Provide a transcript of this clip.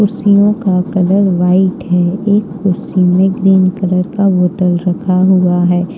कुर्सियों का colour white है एक कुर्सी में ग्रीन कलर का बोतल रखा हुआ है।